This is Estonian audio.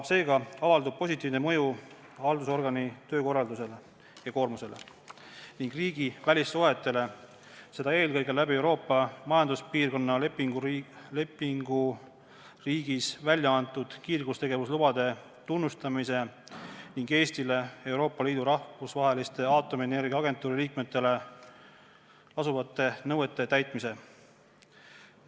Seega avaldub positiivne mõju haldusorgani töökorraldusele ja -koormusele ning riigi välissuhetele, seda eelkõige Euroopa Majanduspiirkonna lepinguriigis välja antud kiirgustegevuslubade tunnustamise tõttu ning Euroopa Liidu ja Rahvusvahelise Aatomienergia Agentuuri liikmetele kehtivate nõuete täitmise tõttu.